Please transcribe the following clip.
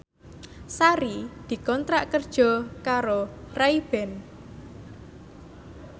Sari dikontrak kerja karo Ray Ban